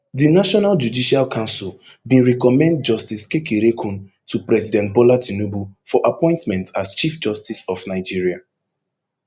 di national judicial council bin recommend justice kekereekun to president bola tinubu for appointment as chief justice of nigeria